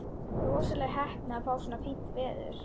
Rosaleg heppni að fá svona fínt veður.